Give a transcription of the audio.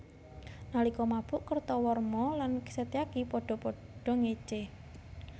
Nalika mabuk Kertawarma lan Setyaki padha padha ngécé